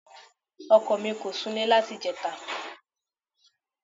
Ọkọ mì kò sunlẹ́ láti ìjẹta.